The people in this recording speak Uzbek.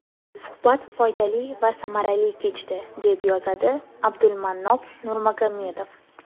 Suhbat foydali va samarali kechdi”,deb yozadi Abdulmannop Nurmagomedov.